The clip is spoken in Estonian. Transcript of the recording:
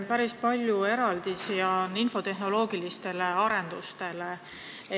Päris palju eraldisi on infotehnoloogilistele arendustele.